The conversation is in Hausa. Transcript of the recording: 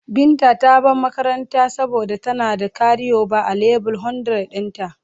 Binta ta bar makaranta saboda tana da karioba a leve 100 dinta.